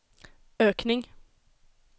ökning